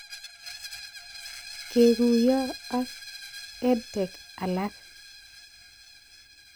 Kekuyo ak EdTech alak